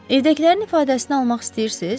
Evdəkilərin ifadəsini almaq istəyirsiz?